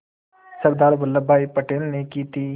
सरदार वल्लभ भाई पटेल ने की थी